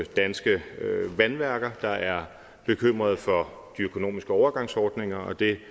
danske vandværker der er bekymrede for de økonomiske overgangsordninger det